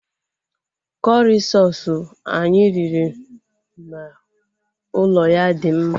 Kọrị soosu anyị riri n'ụlọ ya dị mma